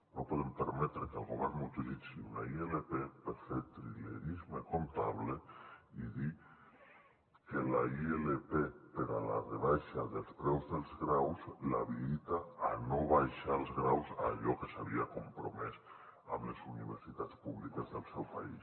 no podem permetre que el govern utilitzi una ilp per fer trilerisme comptable i dir que la ilp per a la rebaixa dels preus dels graus l’habilita a no abaixar els graus en allò que s’hi havia compromès amb les universitats públiques del seu país